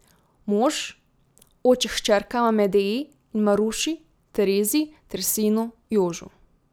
Mož, oče hčerkama Medeji in Maruši Terezi ter sinu Jožu.